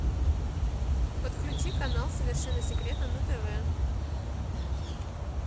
подключи канал совершенно секретно на тв